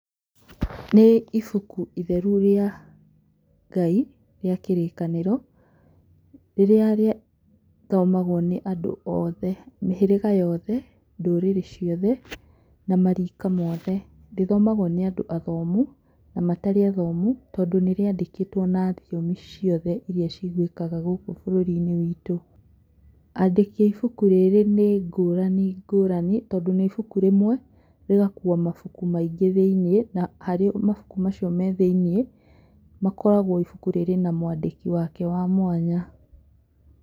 Nĩ ibuku rĩtheru rĩa Ngai rĩa kĩrĩkanĩro, rĩrĩa rĩthomagwo nĩ andũ othe mĩhĩrĩga yothe, ndũrĩrĩ ciothe na marika mothe rĩthomagwo nĩ andũ athomu na matarĩ athomu tondũ nĩ rĩa ndĩkĩtwo na thiomi ciothe iria ciguĩkaga gũkũ bũrũri-inĩ witũ andĩki a ibuku rĩrĩ nĩ ngũrani ngũrani tondũ nĩ ibuku rĩmwe rĩgakua mabuku maingĩ thĩiniĩ na harĩ o mabuku macio me thĩiniĩ makoragwo ibuku rĩrĩ na mwandĩki wake wa mwanya.